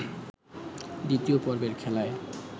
দ্বিতীয় পর্বের খেলায়